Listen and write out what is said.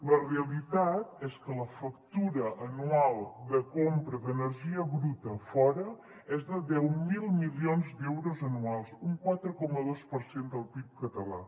la realitat és que la factura anual de compra d’energia bruta fora és de deu mil milions d’euros anuals un quatre coma dos per cent del pib català